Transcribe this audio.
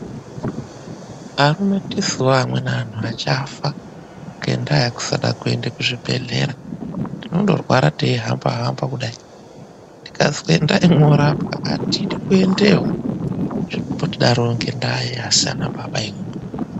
AMUNA TISUWO ANHU ACHAFA ngendaa yekusada KUENDA KUZVIBEHLERA TINONDORWARA TECHIHAMBA KUDAI TIKAZI ENDAI MOORAPWA ATIDI KUENDEYO ZVINOMBOTIDARO NGEI ASI ANA BABA IMI.